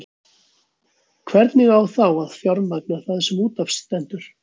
Hvernig á þá að fjármagna það sem út af stendur?